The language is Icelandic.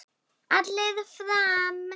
Allir fram!